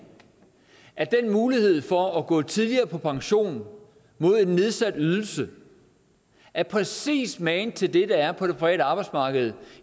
at den mulighed for at gå tidligere på pension mod en nedsat ydelse er præcis magen til det der er på det private arbejdsmarked